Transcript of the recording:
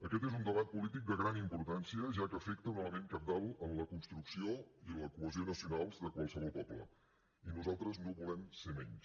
aquest és un debat polític de gran importància ja que afecta un element cabdal en la construcció i la cohesió nacionals de qualsevol poble i nosaltres no volem ser menys